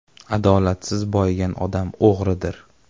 Adolatsiz boyigan odam o‘g‘ridir”.